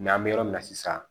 N'an bɛ yɔrɔ min na sisan